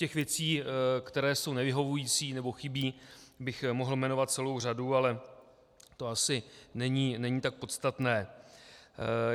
Těch věcí, které jsou nevyhovující nebo chybí, bych mohl jmenovat celou řadu, ale to asi není tak podstatné.